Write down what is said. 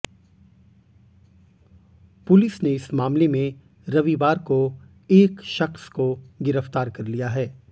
police ने इस मामले में रविवार को एक शख्स को गिरफ्तार कर लिया है